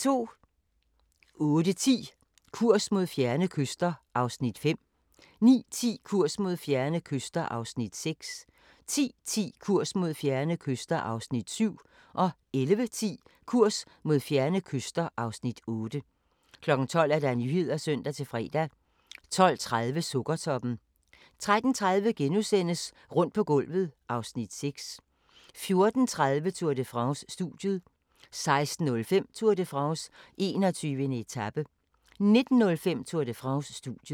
08:10: Kurs mod fjerne kyster (Afs. 5) 09:10: Kurs mod fjerne kyster (Afs. 6) 10:10: Kurs mod fjerne kyster (Afs. 7) 11:10: Kurs mod fjerne kyster (Afs. 8) 12:00: Nyhederne (søn-fre) 12:30: Sukkertoppen 13:30: Rundt på gulvet (Afs. 6)* 14:30: Tour de France: Studiet 16:05: Tour de France: 21. etape 19:05: Tour de France: Studiet